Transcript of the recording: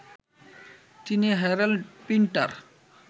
তিনি Harold Pinter